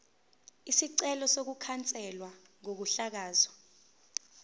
isicelo sokukhanselwa kokuhlakazwa